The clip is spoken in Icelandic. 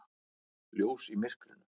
Ljós í myrkrinu.